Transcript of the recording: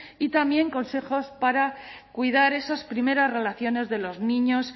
y también consejos para cuidar esas primeras relaciones de los niños